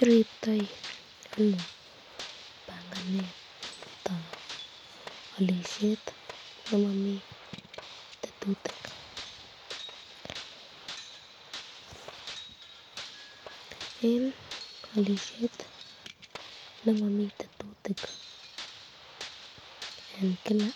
Iriptoi ano banganetab alishet nemami tetutik, eng alisyet nemami tetutik eng Kila